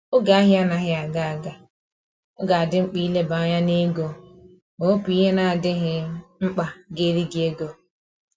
Oge ahia anaghị aga aga, ọ ga adị mkpa ileba anya n'ego ma wepu ihe na adịghị mkpa ga eri gị ego